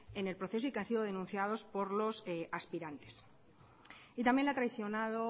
en el proceso y que han sido denunciados por los aspirantes y también le ha traicionado